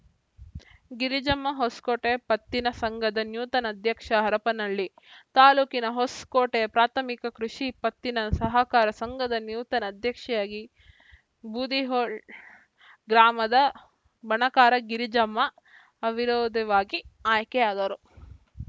ಗಿರಿಜಮ್ಮ ಹೊಸಕೋಟೆ ಪತ್ತಿನ ಸಂಘದ ನೂತನ ಅಧ್ಯಕ್ಷೆ ಹರಪನಹಳ್ಳಿ ತಾಲೂಕಿನ ಹೊಸಕೋಟೆ ಪ್ರಾಥಮಿಕ ಕೃಷಿ ಪತ್ತಿನ ಸಹಕಾರ ಸಂಘದ ನೂತನ ಅಧ್ಯಕ್ಷೆಯಾಗಿ ಬೂದಿಹಾಳ್‌ ಗ್ರಾಮದ ಬಣಕಾರ ಗಿರಿಜಮ್ಮ ಅವಿರೋಧವಾಗಿ ಆಯ್ಕೆಯಾದರು